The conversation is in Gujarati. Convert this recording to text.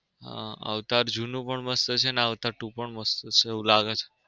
હા અવતાર જૂનું પણ મસ્ત છે અવતાર two પણ મસ્ત છે એવું લાગે છે.